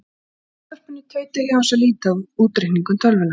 Já, það var í útvarpinu, tauta ég án þess að líta af útreikningum tölvunnar.